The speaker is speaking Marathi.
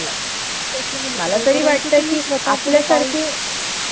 या कालखंडादरम्यान त्यांनी मोठ्या प्रमाणात सामाजिक सुधारणा केली. शिवाय मराठी प्राकृत भाषा हि सात वाहनांची भाषा होती.